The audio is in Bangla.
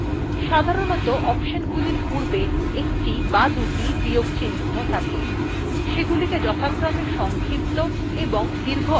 সাধারণত অপশনগুলির পূর্বে একটি বা দুটি বিয়োগ চিন্হ থাকে থাকে সেগুলিকে যথাক্রমে সংক্ষিপ্ত এবং দীর্ঘ অপশন বলে